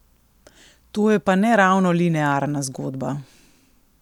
To je pa ne ravno linearna zgodba.